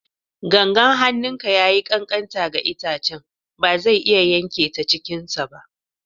Gangan hannunka ya yi ƙanƙanta ga itace, ba zai iya yanke ta cikinsa ba.